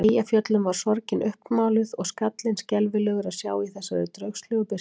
Eyjafjöllum var sorgin uppmáluð og skallinn skelfilegur að sjá í þessari draugslegu birtu.